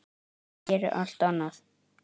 Ég geri allt annað.